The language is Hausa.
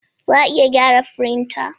Za a iya gyara firinta?